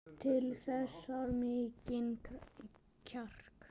Til þess þarf mikinn kjark.